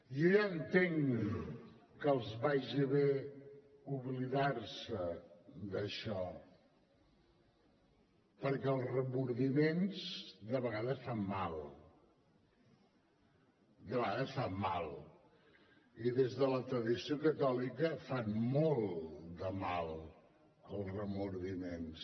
jo ja entenc que els vagi bé oblidar se d’això perquè els remordiments de vegades fan mal de vegades fan mal i des de la tradició catòlica fan molt de mal els remordiments